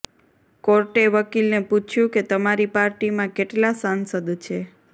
કોર્ટે વકીલને પૂછ્યું કે તમારી પાર્ટીમાં કેટલા સાંસદ છે